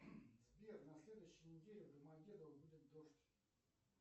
сбер на следующей неделе в домодедово будет дождь